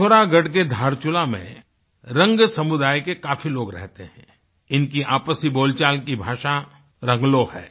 पिथौरागढ़ के धारचूला में रंग समुदाय के काफ़ी लोग रहते हैं इनकी आपसी बोलचाल की भाषा रगलो है